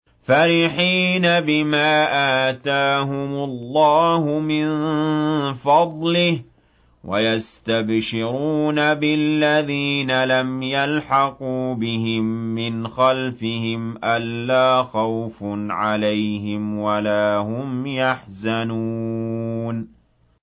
فَرِحِينَ بِمَا آتَاهُمُ اللَّهُ مِن فَضْلِهِ وَيَسْتَبْشِرُونَ بِالَّذِينَ لَمْ يَلْحَقُوا بِهِم مِّنْ خَلْفِهِمْ أَلَّا خَوْفٌ عَلَيْهِمْ وَلَا هُمْ يَحْزَنُونَ